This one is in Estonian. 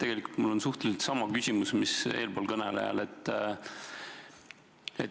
Tegelikult on mul enam-vähem sama küsimus, mis eelkõnelejal.